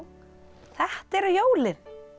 þetta eru jólin